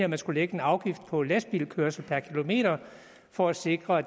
man skulle lægge en afgift på lastbilkørsel per kilometer for at sikre